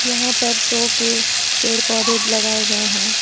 यहां पर शो के पेड़ पौधे लगाए गए हैं।